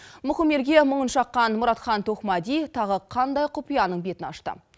мұқым елге мұңын шаққан мұратхан тоқмәди тағы қандай құпияның бетін ашты